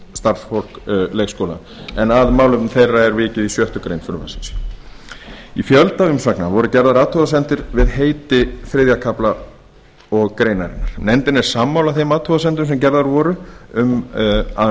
starfsfólk leikskóla en að málefnum þeirra er vikið í sjöttu greinar frumvarpsins í fjölda umsagna voru gerðar athugasemdir við heiti þriðja kafla greinarinnar nefndin er sammála þeim athugasemdum sem gerðar voru um að